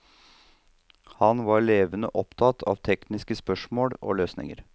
Han var levende opptatt av tekniske spørsmål og løsninger.